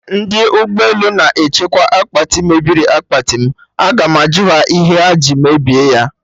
Ndị ụgbọ elu na-echekwa akpati mebiri akpati m, Agam ajụ ha ihe ha ji mebie ya